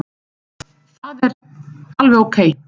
Það er alveg ókei.